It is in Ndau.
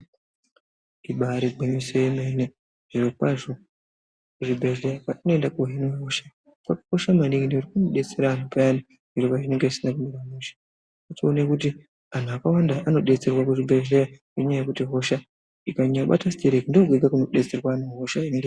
Ibaari gwinyiso yemene, zvirokwazvo kuzvibhedhleya kwatinoenda kunohinwe hosha kwakakosha maningi ndekuti kunodetsera payani zviro pazvinenge zvisina kumira mushe. Wotoone kuti anhu akawanda anodetserwa kuzvibhedhleya nenyaya yekuti hosha ikanyanyobata sitereki ndookwega kunodetserwa anhu hosha inenge...